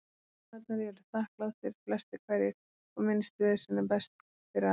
Kúnnarnir eru þakklátir, flestir hverjir, og minnst vesen er best fyrir alla.